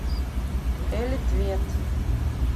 элитвет